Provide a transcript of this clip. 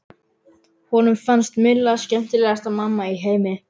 Honum fannst Milla skemmtilegasta mamma í heimi.